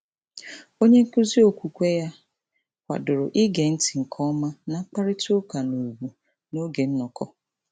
Onyenkụzi okwukwe ya kwadoro ige ntị nke ọma na mkparịtaụka n'ùgwù n'oge nnọkọ.